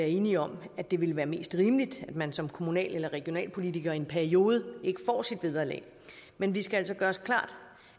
enige om at det ville være mest rimeligt at man som kommunal eller regionalpolitiker i en periode ikke får sit vederlag men vi skal altså gøre os klart